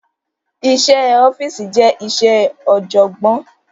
Iṣẹ́ ẹ ọ́fíìsì je iṣẹ ọ̀jọ̀gbọ́n